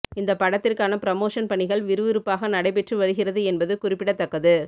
இந்த படத்திற்கான பிரமோஷன் பணிகள் விறுவிறுப்பாக நடைபெற்று வருகிறது என்பது குறிப்பிடத்தக்கது